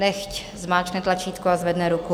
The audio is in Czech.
Nechť zmáčkne tlačítko a zvedne ruku.